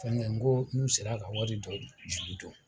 Fɛngɛ n ko n'u sera ka wari do juru don